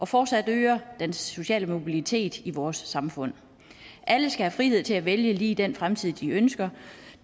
fortsat øger den sociale mobilitet i vores samfund alle skal have frihed til at vælge lige den fremtid de ønsker